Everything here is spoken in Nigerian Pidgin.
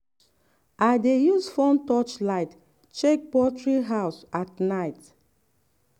i dey use phone touch light check poultry house at night.